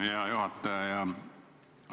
Hea juhataja!